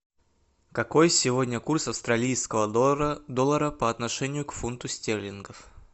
какой сегодня курс австралийского доллара по отношению к фунту стерлингов